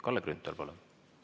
Kalle Grünthal, palun!